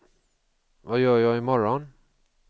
vad gör jag imorgon